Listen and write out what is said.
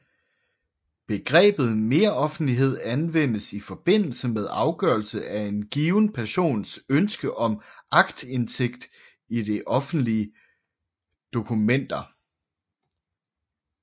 Begrebet meroffentlighed anvendes i forbindelse med afgørelse af en given persons ønske om aktindsigt i offentlige dokumenter